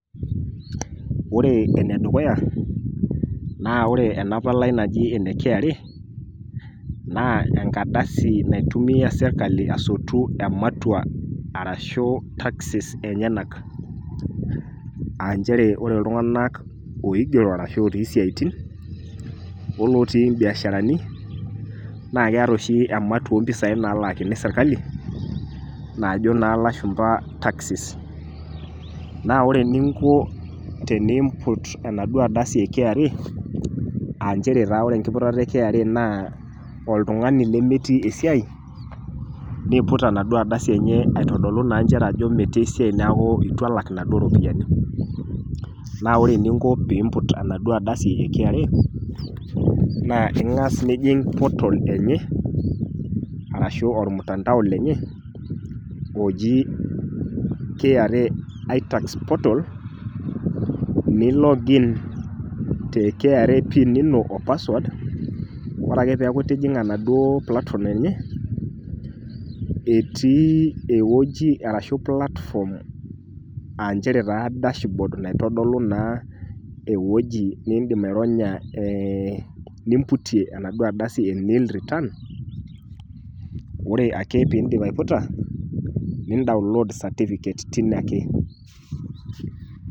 Ore ene dukuya naa ore kra naa enkardasi naitumia sirkali asotu ematua arashu taxes enyenak aa nchere ore iltunganak oigero ashu lotii siatin olootii mbiasharani naa keta oshi ematua oropiyiani naalakini sirkali naajo naa ilashumba taxes. Naa ore eninko tenimput enaduoo ardasi e kra naa nchere ore enkiputata enaduo ardasi e kra naa oltungani lemetii esiai , niput naa nchere aitodolu ajo metii esiai niaku itu elak inaduoo ropiyiani. Naa ore eninko pimput enaduo ardasi e kra naa ingas nijing portal enye arashu ormutandao lenye , oji kra itax portal, nilogin te kra pin ino o password, ore ake peaku itijinga enaduoo platform enye , etii ewueji arashu platform aa nchere dash board naitodolu naa ewueji nidim aironya ee natodolu naa enaduo ardasi nimputie nill return ,ore ake pindip aiputa nidownload certificate tine ake.